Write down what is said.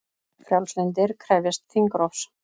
Frjálslyndir krefjast þingrofs